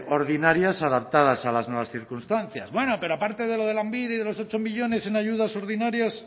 ordinarias adaptadas a las nuevas circunstancias bueno pero aparte de lo de lanbide y de los ocho millónes en ayudas ordinarias